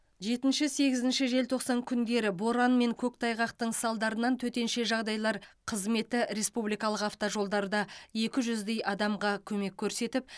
жетінші сегізінші желтоқсан күндері боран мен көктайғақтың салдарынан төтенше жағдайлар қызметі республикалық автожолдарда екі жүздей адамға көмек көрсетіп